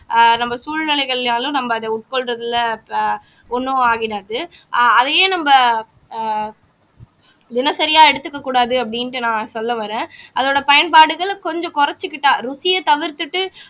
அஹ் நம்ம சூழ்நிலைகள்னாலும் நம்ம அத உட்கொள்றதுல ப ஒண்ணும் ஆகினது ஆஹ் அதையே நம்ம ஆஹ் தினசரியா எடுத்துக்க கூடாது அப்படின்ட்டு நான் சொல்ல வர்றேன் அதோட பயன்பாடுகளை கொஞ்சம் குறைச்சுக்கிட்டா ருசியை தவிர்த்துட்டு